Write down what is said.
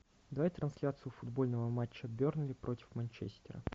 давай трансляцию футбольного матча бернли против манчестера